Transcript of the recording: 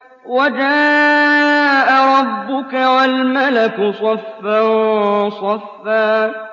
وَجَاءَ رَبُّكَ وَالْمَلَكُ صَفًّا صَفًّا